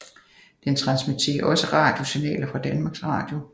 Den transmitterer også radiosignaler fra Danmarks Radio